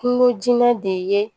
Kungo jinɛ de ye